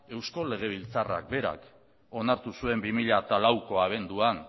eusko legebiltzarrak berak onartu zuen bi mila lauko abenduan